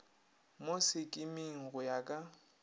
mo sekiming go ya ka